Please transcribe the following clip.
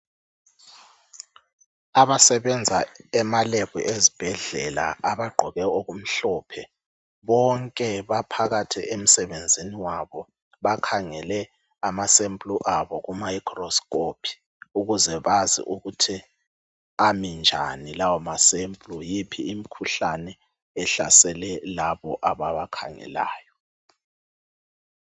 Abasebenza ema lebhu ezibhedlela abagqoke okumhlophe bonke baphakathi emsebenzini wabo. Bakhangele ama sample abo ku microscope ukuze bazi ukuthi ami njani lawo ma sample yiphi imkhuhlane ehlasele labo ababakhangelayo.